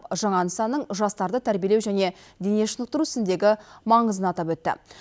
жаңа нысанның жастарды тәрбиелеу және дене шынықтыру ісіндегі маңызын атап өтті